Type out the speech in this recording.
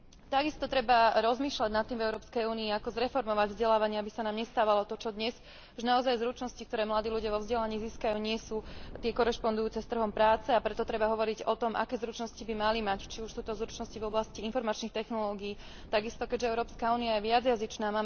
Takisto treba rozmýšľať nad tým v EÚ, ako zreformovať vzdelávanie, aby sa nám nestávalo to, čo dnes, že naozaj zručnosti, ktoré mladí ľudia vo vzdelaní získajú, nie sú tie korešpondujúce s trhom práce, a preto treba hovoriť o tom, aké zručnosti by mali mať, či už sú to zručnosti v oblasti informačných technológií, takisto keďže EÚ je viacjazyčná